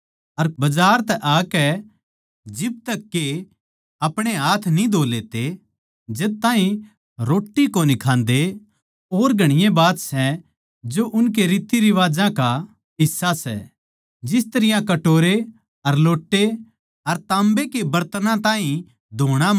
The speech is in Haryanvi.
अर बजार तै आकै जिब तक के आपणे हाथ न्ही धो लेते जद ताहीं रोट्टी कोनी खान्दे और घणीए बात सै जो उनके रीतिरिवाजां का हिस्सा सै जिस तरियां कटोरे अर लोट्टे अर ताम्बे के बरतनां ताहीं धोणा मान्जणा